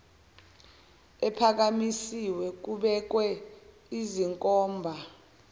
ephakamisiwe kubekwe iznkomba